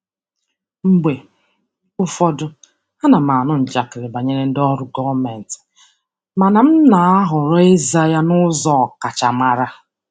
Mgbe ụfọdụ, ana m anụ njakịrị banyere ndị ọrụ gọọmentị mana m na-ahọrọ ịza ya n'ụzọ ọkachamara.